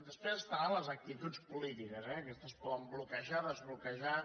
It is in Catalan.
després estaran les actituds polítiques eh aquestes poden bloquejar desbloquejar